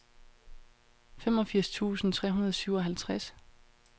femogfirs tusind tre hundrede og syvoghalvtreds